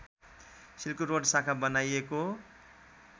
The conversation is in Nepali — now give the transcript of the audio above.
सिल्करोड शाखा बनाइएको